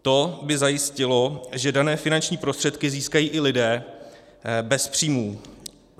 To by zajistilo, že dané finanční prostředky získají i lidé bez příjmů.